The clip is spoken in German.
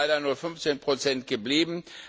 Das sind leider nur 15 Prozent geblieben.